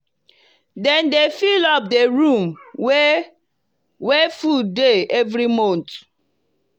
dem dey fill up di room wey wey food dey every month.